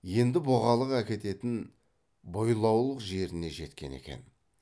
енді бұғалық әкететін бойлауық жеріне жеткен екен